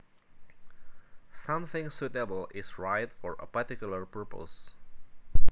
Something suitable is right for a particular purpose